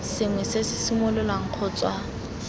sengwe se se simololwang kgotsa